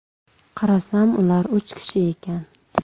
Qarasam ular uch kishi ekan.